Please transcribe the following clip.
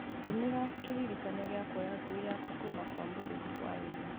ndũmĩra kĩririkania gĩa kũoya ngui yakwa kuma kwa mũrĩithi hwaĩ-inĩ